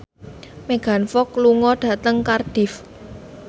Megan Fox lunga dhateng Cardiff